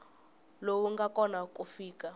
lowu nga kona ku fika